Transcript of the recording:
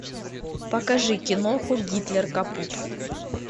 покажи киноху гитлер капут